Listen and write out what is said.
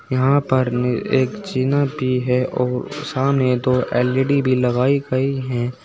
यहां पर एक जीना भी है और सामने दो एल_ई_डी भी लगाई गई है।